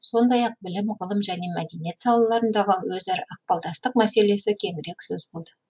сондай ақ білім ғылым және мәдениет салаларындағы өзара ықпалдастық мәселесі кеңірек сөз болды